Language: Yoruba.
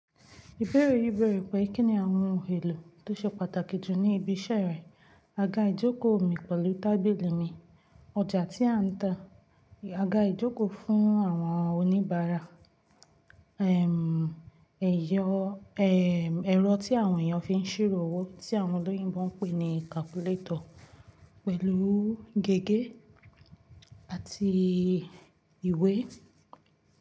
Ìbéèrè yìí bèèrè pé kí ni àwọn ohun èlò tó ṣe pàtàkì jù ní ibi iṣẹ́ rẹ? Aga ìjókòó mi pẹ̀lú tábìlì mi, ọjà tí a ń ta, aga ìjókòó fún àwọn oníbàárà, ẹ̀m, ẹ̀yọ, ẹ̀m, ẹ̀rọ tí àwọn èèyàn fi ń ṣírò owó tí àwọn olóyìnbo ń pè ní calculator pẹ̀lú gègé àti ìwé.